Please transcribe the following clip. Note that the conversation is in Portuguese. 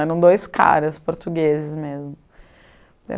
Eram dois caras, portugueses mesmo.